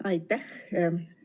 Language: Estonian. Aitäh!